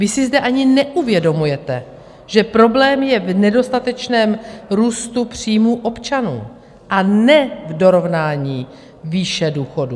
Vy si zde ani neuvědomujete, že problém je v nedostatečném růstu příjmu občanů, a ne v dorovnání výše důchodů.